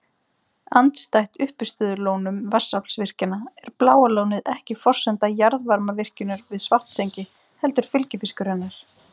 Andstætt uppistöðulónum vatnsaflsvirkjana er Bláa lónið ekki forsenda jarðvarmavirkjunarinnar við Svartsengi heldur fylgifiskur hennar.